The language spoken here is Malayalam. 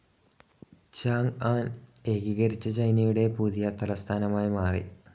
ചാങ്‌ആൻ ഏകീകരിച്ച ചൈനയുടെ പുതിയ തലസ്ഥാനമായി മാറി.